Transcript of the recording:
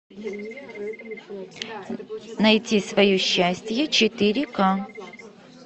найти свое счастье четыре к